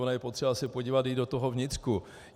Ono je potřeba se podívat i do toho vnitřku.